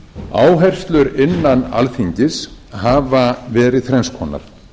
tryggt áherslur innan alþingis hafa verið þrenns konar